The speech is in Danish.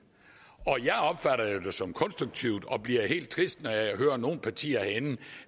og jeg opfatter det jo som konstruktivt og bliver helt trist når jeg hører nogle partier herinde